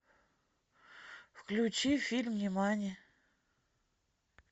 включи фильм нимани